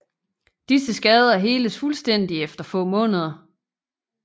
Disse skader heles fuldstændig efter få måneder